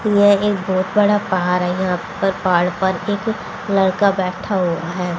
ये एक बहोत बड़ा पहार है यहां पर पहाड़ पर एक लड़का बैठा हुआ है।